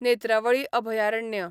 नेत्रावळी अभयारण्य